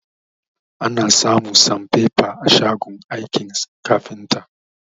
Ana samun sanfefa a shagon aikin kafinta